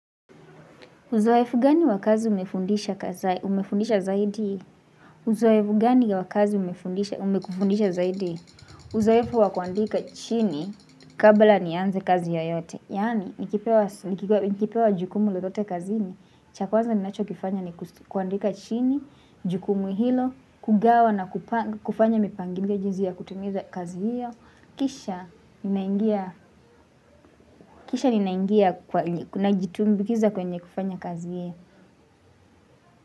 Uzoefu gani wa kazi umefundisha zaidi? Uzoefu gani wa kazi umekufundisha zaidi? Uzoefu wa kuandika chini kabla nianze kazi yoyote. Yaani, nikipewa jukumu lolote kazini. Cha kwanza ninachokifanya ni kuandika chini, jukumu hilo, kugawa na kufanya mipangilio jinsi ya kutimiza kazi hiyo. Kisha Kisha ninaingia kwa najitumbikiza kwenye kufanya kazi hiyo.